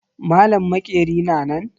Malam maƙeri na nan?